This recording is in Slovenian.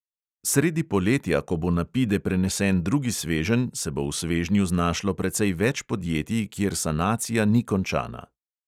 Sredi poletja, ko bo na pide prenesen drugi sveženj, se bo v svežnju znašlo precej več podjetij, kjer sanacija ni končana.